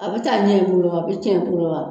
A bɛ taa ɲɛ kurɔ, a bɛ tiɲɛ kurɔ aa.